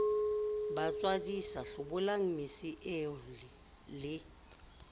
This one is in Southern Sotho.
matswadisa hlobolang mese eo le